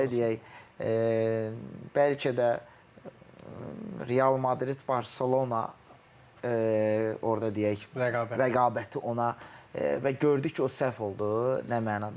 Belə deyək, bəlkə də Real Madrid, Barselona orda deyək rəqabəti ona və gördü ki, o səhv oldu nə mənada.